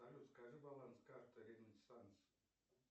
салют скажи баланс карты ренессанс